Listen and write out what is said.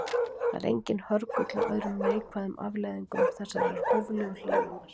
Það er enginn hörgull á öðrum neikvæðum afleiðingum þessarar hóflegu hlýnunar.